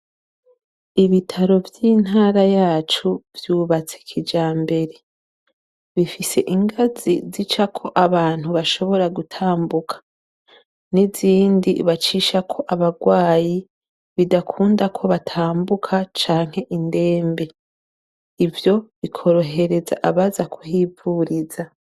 Ibitaro vyintara yacu vyubatse kijambere bifise ingazi zicako abantu bashobora gutambuka nizindi bacishako abarwaye bidakunda ko batambuka canke indembe ivyo bikoroheza abaza kuhivuriza